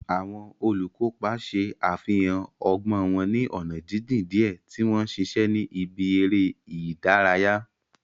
Àwọn olùkópa ṣe àfihàn ọgbọ́n wọn ní ọ̀nà jíjìn díẹ̀ tí wọ́n ń ṣiṣẹ́ ní ibi eré ìdárayá.